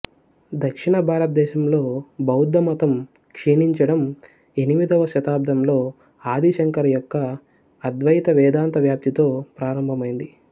దక్షిణ భారతదేశంలో బౌద్ధమతం క్షీణించడం ఎనిమిదవ శతాబ్దంలో ఆది శంకర యొక్క అద్వైత వేదాంత వ్యాప్తితో ప్రారంభమైంది